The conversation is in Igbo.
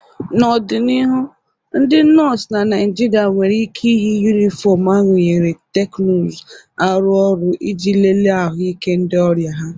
N'ọdịnihu, ndị nọọsụ na Naịjirịa nwere ike iyi yunifọmụ arunyere teknuzu arụ ọrụ iji lelee ahụike ndị ọrịa ha.